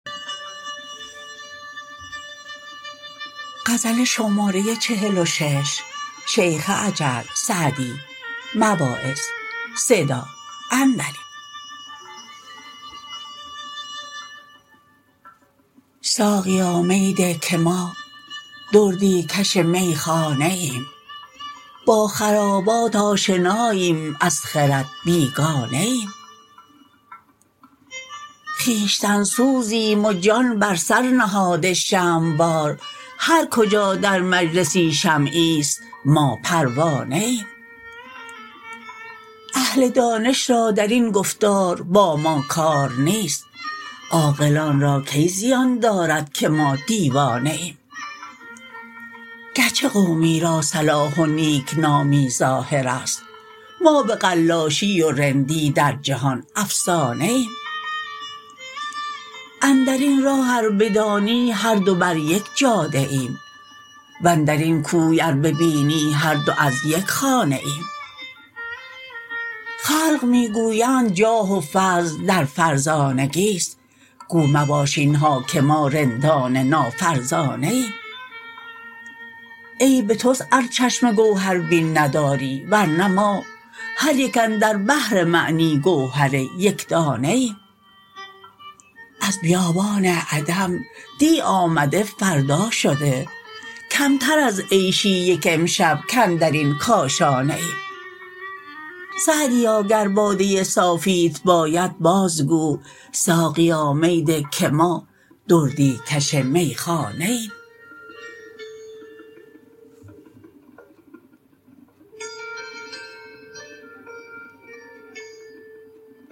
ساقیا می ده که ما دردی کش میخانه ایم با خرابات آشناییم از خرد بیگانه ایم خویشتن سوزیم و جان بر سر نهاده شمع وار هر کجا در مجلسی شمعیست ما پروانه ایم اهل دانش را در این گفتار با ما کار نیست عاقلان را کی زیان دارد که ما دیوانه ایم گرچه قومی را صلاح و نیکنامی ظاهر است ما به قلاشی و رندی در جهان افسانه ایم اندر این راه ار بدانی هر دو بر یک جاده ایم واندر این کوی ار ببینی هر دو از یک خانه ایم خلق می گویند جاه و فضل در فرزانگیست گو مباش اینها که ما رندان نافرزانه ایم عیب توست ار چشم گوهربین نداری ورنه ما هر یک اندر بحر معنی گوهر یکدانه ایم از بیابان عدم دی آمده فردا شده کمتر از عیشی یک امشب کاندر این کاشانه ایم سعدیا گر باده صافیت باید باز گو ساقیا می ده که ما دردی کش میخانه ایم